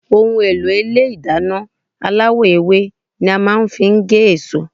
Ohùn èlò Ilé ìdáná aláwò ewé ni a màa n fi gé èso